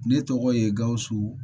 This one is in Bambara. Ne tɔgɔ ye gawusu